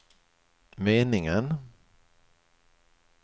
meningen